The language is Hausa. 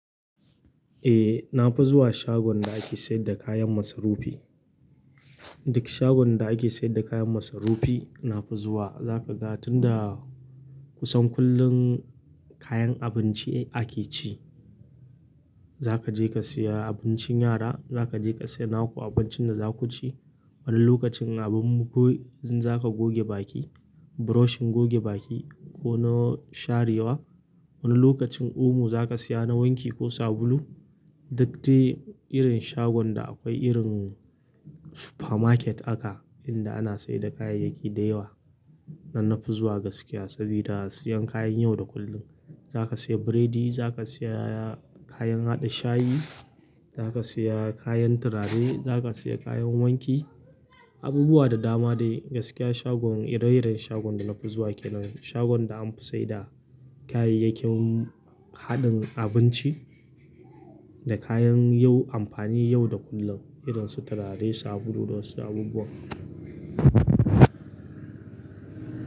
Eh na fa zuwa shagon da ake sayar da kayan masarufi. Duk shagon da ake sayar da kayan masarufi na fa zuwa. Za ka ga tun da kusan kullum kayan abinci ake ci. Za ka je ka siya abincin yara, za ka je ka siya naku abincin da za ku ci. Wani lokacin abin goge, zaka goge baki, brush goge baki ko na sharewa. Wani lokacin omo za ka siya na wanki ko sabulu. Duk dai irin shagon da akwai irin supermarket aka, inda ana sayar da kayayyaki da yawa. Nan na fi zuwa gaskiya saboda siyan kayan yau da kullum. Za ka siya biredi, za ka siya kayan haɗa shayi, za ka siya kayan turare, za ka siya kayan wanki, abubuwa da dama dai. Gaskiya shagon ire-iren shagon da na fi zuwa kenan shagon da an fi sayar da kayayyakin haɗin abinci da kayan yau amfani yau da kullum. Iren su turare, sabulu da wasu abubuwa.